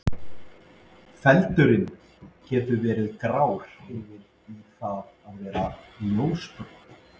Feldurinn getur verið grár yfir í það að vera ljósbrúnn.